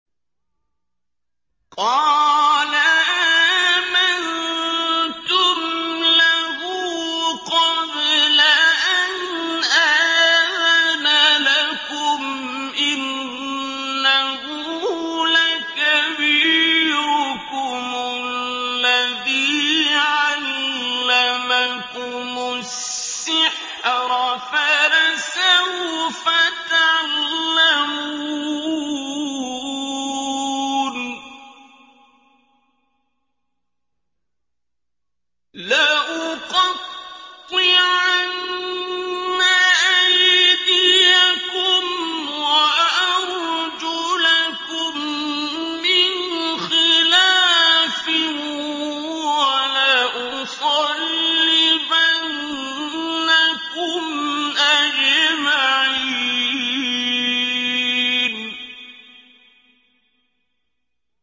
قَالَ آمَنتُمْ لَهُ قَبْلَ أَنْ آذَنَ لَكُمْ ۖ إِنَّهُ لَكَبِيرُكُمُ الَّذِي عَلَّمَكُمُ السِّحْرَ فَلَسَوْفَ تَعْلَمُونَ ۚ لَأُقَطِّعَنَّ أَيْدِيَكُمْ وَأَرْجُلَكُم مِّنْ خِلَافٍ وَلَأُصَلِّبَنَّكُمْ أَجْمَعِينَ